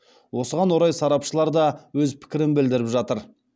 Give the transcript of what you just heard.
осыған орай сарапшылар да өз пікірін білдіріп жатыр